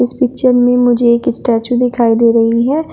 इस पिक्चर में मुझे एक स्टैचू दिखाई दे रही है।